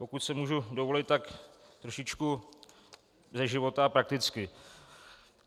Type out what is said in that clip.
Pokud si můžu dovolit, tak trošičku ze života, prakticky.